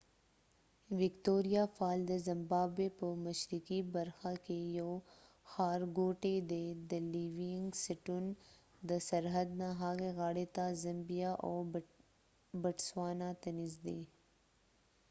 وکتوریا فال ` د زمبابوي په مشرقی برخه کې یو ښارګوټی دي د لیوېنګ سټون د سرحد نه هغې غاړی ته ، زمبیا او بټسوانا ته نزدي